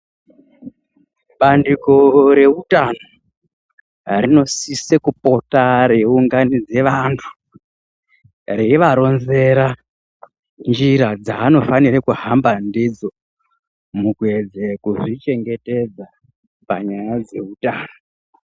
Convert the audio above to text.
Bandiko reutano rinosise kupota reiunganidze vantu reivaronzera njira dzavanofanira kuhamba ndidzo mukuedze kuzvichengetedza panyaya dzeutano.